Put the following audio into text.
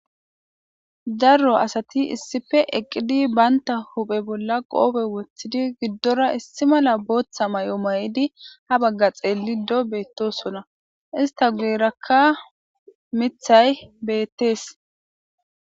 darro asati issife eqqidi baynta huphe bolla qoobe woththidi giddora issi mala booththa mayo maydi ha bagga xeellido beettosona ista guyrakka mithay beettees